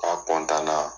K'a na